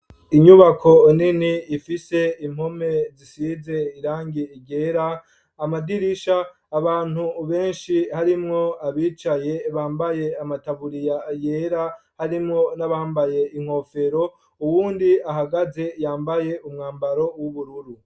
Inyubako nini ifise impome zisize irangi ryera amadirisha, abantu benshi harimwo abicaye bambaye amataburiya yera harimwo n'abambaye inkofero ,uwundi ahagaze yambaye umwambaro w'ubururu .